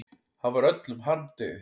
Hann var öllum harmdauði.